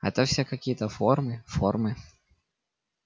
а то всё какие-то формы формы